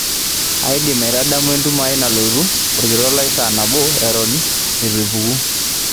indim aitadamu entumo ai nalotu orkitok lai saa nabo eton eitu ipuku